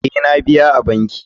Ee, na biya a banki.